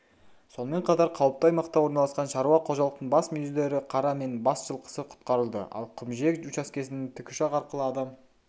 сонымен қатар қауіпті аймақта орналасқан шаруа қожалықтың бас мүйізді ірі қара мен бас жылқысы құтқарылды ал құмжиек учаскесіннен тікұшақ арқылы адам